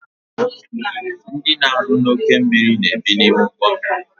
Ndị na-arụ n'oke mmiri na-ebi n' ime ugbommiri